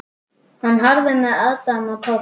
Hún horfði með aðdáun á Tóta.